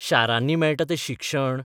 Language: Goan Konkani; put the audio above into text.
शारांनी मेळटा तें शिक्षण?